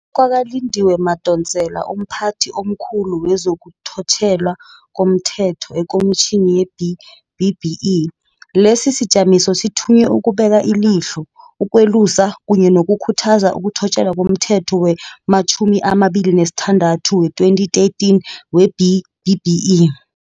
Ngokutjho kwakaLindiwe Madonsela, umPhathi omKhulu wezokuThotjelwa komThetho eKomitjhinini ye-B-BBEE, lesisijamiso sithunywe ukubeka ilihlo, ukwelusa kunye nokukhuthaza ukuthotjelwa komThetho 46 wee-2013 we-B-BBEE.